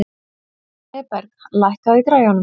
Eberg, lækkaðu í græjunum.